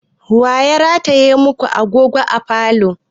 Wa ya rataye ma ku agogo a falo?